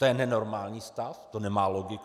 To je nenormální stav, to nemá logiku.